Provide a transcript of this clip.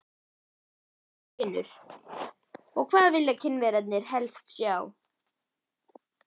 Magnús Hlynur: Og hvað vilja Kínverjarnir helst sjá?